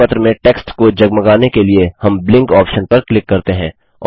सूचना पत्र में टेक्स्ट को जगमगाने के लिए हम ब्लिंक ऑप्शन पर क्लिक करते हैं